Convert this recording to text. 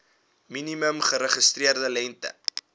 minimum geregistreerde lengte